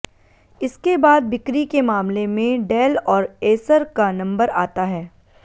इसके बाद बिक्री के मामले में डेल और एसर का नंबर आता है